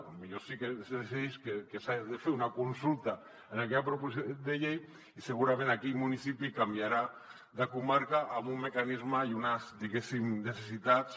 potser sí que es decideix que s’ha de fer una consulta en aquella proposició de llei i segurament aquell municipi canviarà de comarca amb un mecanisme i unes diguéssim necessitats